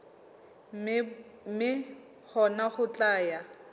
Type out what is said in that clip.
mme hona ho tla ya